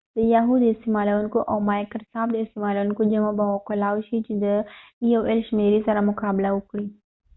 د یاهو د استعمالوونکو او مایکرسافت د استعمالوونکو جمع به وکولای شي چې د ای او ایل د شمیری سره مقا بله وکړي